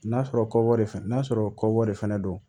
N'a sɔrɔ kɔɔri fɛnɛ na sɔrɔ kɔkɔbɔ de fɛnɛ don